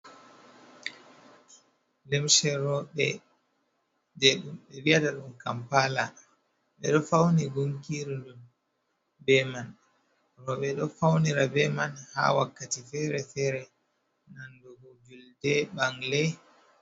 Lumse, Kampala jai rawbe, 6edo faunirigunki be mai. 6edo faunirabo ha hundeji fere fere, bana julde, 6angle.